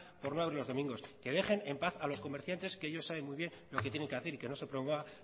por no abrir los domingos que dejen en paz a los comerciantes que ellos saben muy bien lo que tienen que hacer y que no se promueva